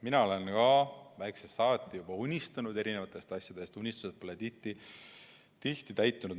Mina olen ka väiksest saati juba unistanud erinevatest asjadest, unistused pole tihti täitunud.